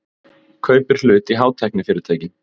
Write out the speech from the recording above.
Kaupir hlut í hátæknifyrirtæki